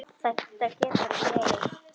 Þetta getur ekki verið!